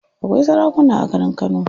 Akwai sarakuna a garin kano.